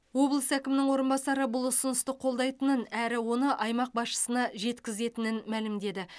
облыс әкімінің орынбасары бұл ұсынысты қолдайтынын әрі оны аймақ басшысына жеткізетінін мәлімдеді